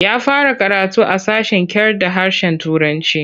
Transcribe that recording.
Ya fara karatu a sashen kyarda harshen Turanci.